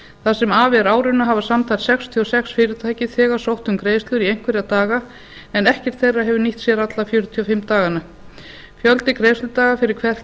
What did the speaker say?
það sem af er árinu hafa samtals sextíu og sex fyrirtæki þegar sótt um greiðslur í einhverja daga en ekkert þeirra hefur nýtt sér alla fjörutíu og fimm dagana fjöldi greiðsludaga fyrir hvert